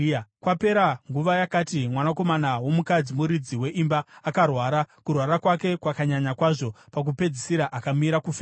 Kwapera nguva yakati, mwanakomana womukadzi, muridzi weimba, akarwara. Kurwara kwake kwakanyanya kwazvo, pakupedzisira akamira kufema.